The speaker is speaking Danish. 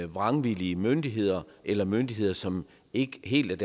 vrangvillige myndigheder eller myndigheder som ikke helt